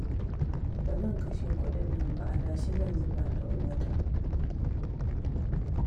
Ba zan kashe kuɗin nan ba, adashi zan zuba ɗan wata